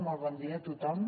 molt bon dia a tothom